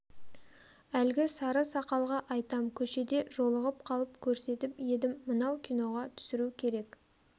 әлгі сары сақалға айтам көшеде жолығып қалып көрсетіп едім мынау киноға түсіру керек